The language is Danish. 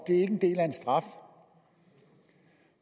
en del af en straf